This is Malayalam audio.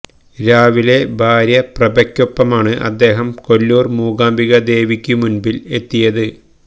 രാവിലെ ഭാര്യ പ്രഭയ്ക്കാപ്പമാണ് അദ്ദേഹം കൊല്ലൂർ മൂകാംബിക ദേവിയ്ക്കു മുൻപിൽ എത്തിയത്